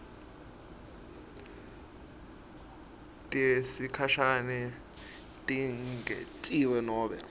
tesikhashane tingentiwa kunobe